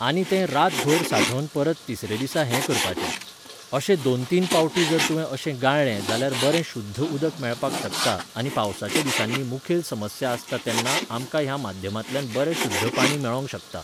आनी तें रातभर साठोवन परत तिसरे दिसा हें करपाचें. अशें दोन तीन पावटी जर तूवें अशें गाळ्ळे जाल्यार बरें शूध्द उदक मेळपाक शकता आनी पावसाच्या दिसांनी मुखेल समस्या आसता तेन्ना आमकां ह्या माध्यमांतल्यान बरें शुध्द पाणी मेळोंक शकता.